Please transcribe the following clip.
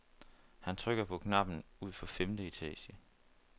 Han trykker på knappen ud for femte etage.